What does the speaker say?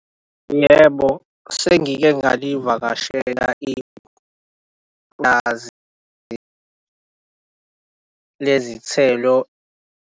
Yebo sengike ngalivakashela ipulazi lezithelo.